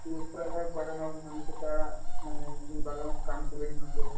বাগানৰ মানুহকেইটা মানে বাগানত কাম কৰে সিহঁতে